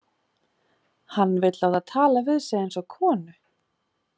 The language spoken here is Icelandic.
Hann vill láta tala við sig eins og konu.